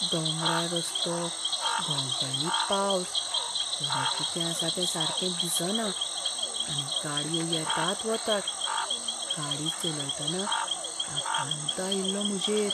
दोंगराळ रस्तो, घोग्यांनी पावस, फुडें कितें आसा तें सारकें दिसना आनी गाडयो येतात वतात, गाडी चलयतना आकांत आयिल्लो म्हजेर.